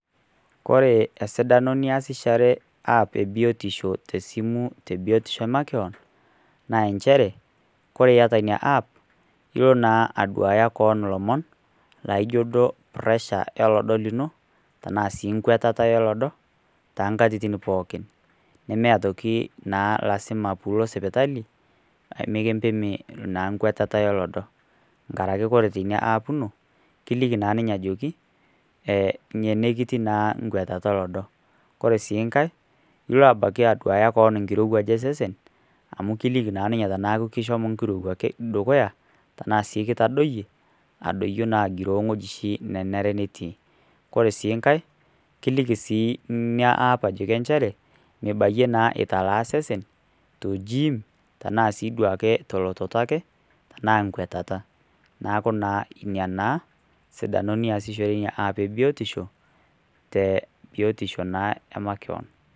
Kore esidano niasishore app e biotisho te simu te biotisho e makewon, naa nchere, kore ita ina app ilo naa aduaya koon ilomon loijo puresh olodo lino, tanaa sii nkwetata olodo, too nkatitin pookin. Nemee atoki naa lasima pee ilo sipitali, mikimpimi naa nkwetata olodo, nkarake kore teina app ino, kiliki naa ninye ajoki , ine kitii naa nkwetata olodo. Koree sii nkai, ilo aduaki koon abaiki nkirowaj osesen, amu kiliki naa ninye tanaa kishomo nkirowaj keshomo dukuya anaa sii ketadoiye adoiyo naa agiroo wueji oshi nanare netii. Kore sii nkai kiliki sii ina app nchere, mibayie naa italaa isesen toojiim tanaa sii duo ake te elototo ake tanaa nkwetata, neaku naa inia naa sidano niasishore inia app e biotisho, te biotisho naa e makeoon.